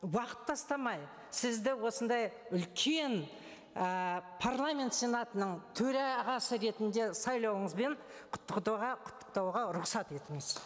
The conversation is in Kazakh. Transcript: уақыт тастамай сізді осындай үлкен ііі парламент сенатының төрағасы ретінде сайлауыңызбен құттықтауға рұқсат етіңіз